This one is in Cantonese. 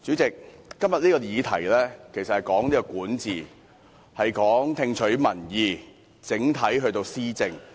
代理主席，這項議題其實是關於管治、聽取民意，以及整體施政。